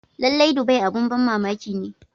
Lallai, Dubai abin ban mamaki ne.